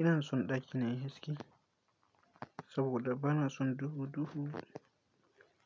Ina son ɗaki na yayi haske saboda ba na son duhu-duhu